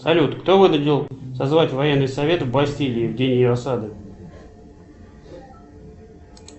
салют кто вынудил созвать военный совет в бастилии в день ее осады